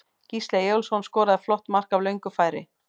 Gísli Eyjólfsson skoraði flott mark af löngu færi.